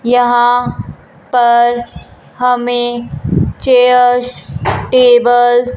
यहां पर हमें चेयर्स टेबल्स --